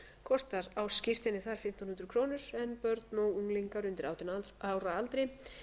kostar ársskírteinið þar fimmtán hundruð krónur en börn og unglingar undir átján ára aldri